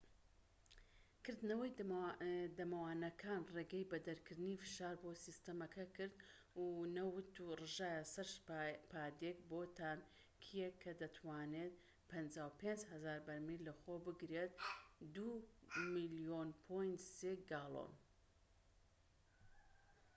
کردنەوەی دەمەوانەکان ڕێگەی بە دەرکردنی فشار بۆ سیستەمەکە کرد و نەوت ڕژایە سەر پادێک بۆ تانکیەک کە دەتوانێت 55,000 بەرمیل لەخۆ بگرێت 2.3 ملیۆن گاڵۆن